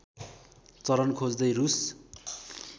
चरन खोज्दै रूस